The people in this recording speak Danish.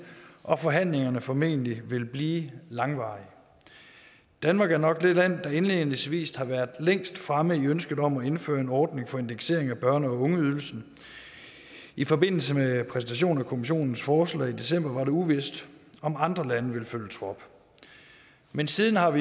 og at forhandlingerne formentlig vil blive langvarige danmark er nok det land der indledningsvis har været længst fremme i ønsket om at indføre en ordning for indeksering af børne og ungeydelsen i forbindelse med præsentationen af kommissionens forslag i december var det uvist om andre lande ville følge trop men siden har